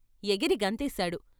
ఎగిరి గంతేశాడు.